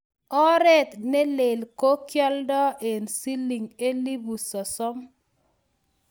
oret ne lel ko kioldoi eng siling elipu sosom